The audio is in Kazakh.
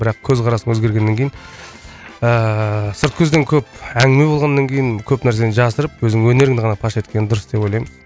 бірақ көзқарас өзгергеннен кейін ыыы сырт көзден көп әңгіме болғаннан кейін көп нәрсені жасырып өзіңнің өнеріңді ғана паш еткен дұрыс деп ойлаймын